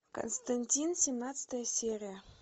константин семнадцатая серия